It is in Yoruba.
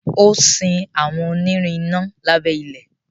o sin àwọn onirin iná lábé ilẹ.